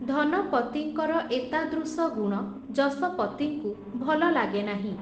ଧନପତିଙ୍କର ଏତାଦୃଶ ଗୁଣ, ଯଶପତିଙ୍କୁ ଭଲ ଲାଗେନାହିଁ ।